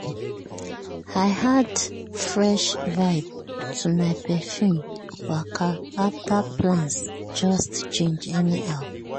i add fresh vibe to my perfume waka after plans just change anyhow.